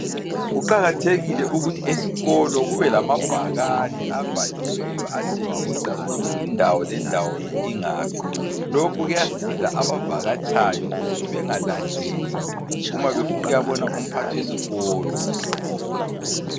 Kuqakathekile ukuthi esikolo kubelamabhakane abhaliweyo atshengisa ukuthi indawo lendawo ingaphi. Lokhu kuyasiza abavakatshayo ukuthi bengalahleki. Uma befunukuyabona umphathiskolo.